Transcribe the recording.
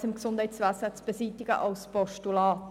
Fehlanreize im Gesundheitswesen beseitigen» als Postulat: